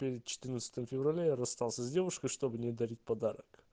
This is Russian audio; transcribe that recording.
перед четырнадцатым февраля я расстался с девушкой чтобы не дарить подарок